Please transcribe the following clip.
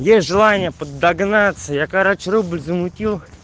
есть желание под догнаться я короче рубль замутил